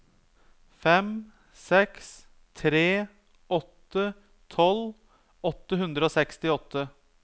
fem seks tre åtte tolv åtte hundre og sekstiåtte